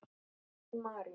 Þín Marín.